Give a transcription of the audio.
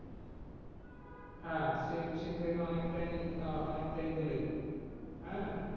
হ্যাঁ sea beach থেকে অনেকটাই, অনেকটাই দূরে আহ